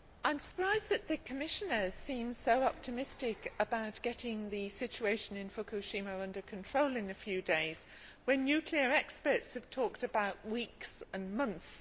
Mr President, I am surprised that the Commissioner seems so optimistic about getting the situation in Fukushima under control in a few days when nuclear experts have talked about weeks and months